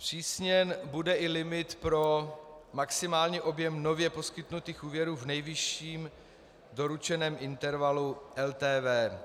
Zpřísněn bude i limit pro maximální objem nově poskytnutých úvěrů v nejvyšším doručeném intervalu LTV.